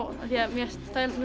mér finnst þægilegt